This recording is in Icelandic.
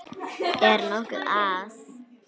Er nokkuð að?